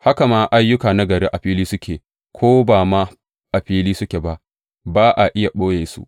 Haka ma ayyuka nagari a fili suke, ko ba ma a fili suke ba, ba a iya ɓoye su.